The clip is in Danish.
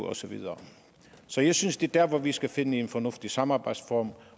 og så videre så jeg synes det der hvor vi skal finde en fornuftig samarbejdsform